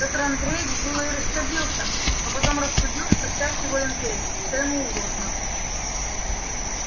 петр андреевич было и рассердился но потом рассудил что всякий волен петь что ему угодно